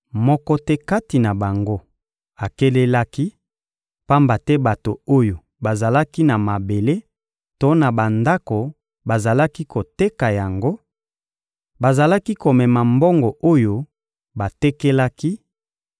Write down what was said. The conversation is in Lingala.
Moko te kati na bango akelelaki; pamba te bato oyo bazalaki na mabele to na bandako bazalaki koteka yango, bazalaki komema mbongo oyo batekelaki